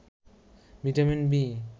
vitamin B